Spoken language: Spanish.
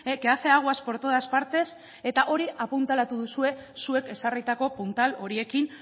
que hace aguas por todas partes eta hori apuntalatu duzue zuek ezarritako puntal horiekin